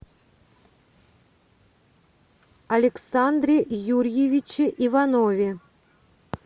александре юрьевиче иванове